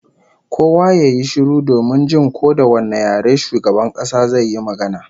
Kowa ya yi shiru domin jin ko da wane yare shugaban kasa zai yi magana